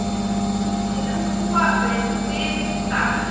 Til að búa við þig þar.